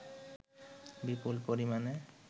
বিপুল পরিমাণে